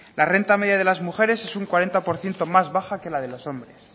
la renta media de las mujeres es un cuarenta por ciento más baja que la de los hombres